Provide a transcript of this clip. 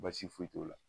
Baasi foyi t'o la